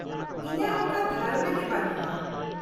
-ᱤᱧᱟᱹᱜ ᱚᱠᱟ ᱫᱷᱟᱨᱚᱱᱟ ᱜᱮ ᱵᱟᱹᱱᱩᱜᱼᱟ ᱾